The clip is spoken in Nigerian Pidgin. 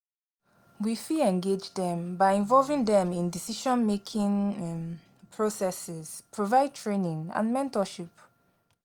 We fit engage dem by involving dem in decision-making um processes, provide training and mentorship.